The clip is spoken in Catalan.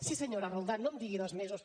sí senyora roldán no em digui dos mesos